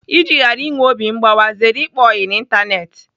Iji ghara inwe obi mgbawa, zere ịkpa oyi n'Ịntanetị.